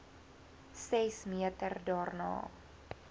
ses meter daarna